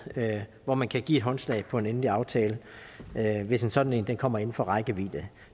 hvor man kan give håndslag på en endelig aftale hvis en sådan kommer inden for rækkevidde det